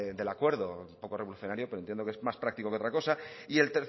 del acuerdo poco revolucionario pero entiendo que es más práctico que otra cosa